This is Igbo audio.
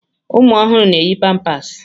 Ụmụ ọhụrụ na-eyi pampáásị.